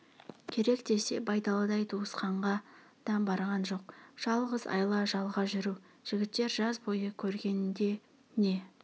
керек десе байдалыдай туысқанға да барған жоқ жалғыз айла жалға жүру жігіттер жаз бойы көргенде не